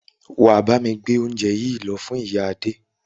Wà á bámi gbé óúnje yìí lọ fún ìyá Adé!